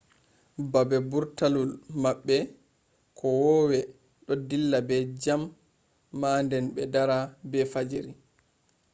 babbe burtalul mabbe kowowe do dilla be jam ma den be dara be fajiri